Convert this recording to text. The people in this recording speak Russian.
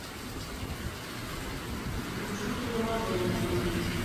включи приложение